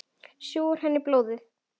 Sjúga úr henni blóðið.